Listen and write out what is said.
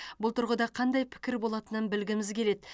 бұл тұрғыда қандай пікір болатынын білгіміз келеді